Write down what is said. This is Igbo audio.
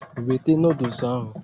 Wete noodles ahụ!